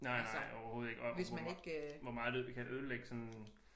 Nej nej overhovedet ikke og hvor hvor meget det kan ødelægge sådan